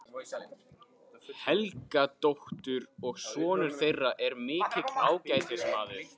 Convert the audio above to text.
Helgadóttur, og sonur þeirra er mikill ágætismaður.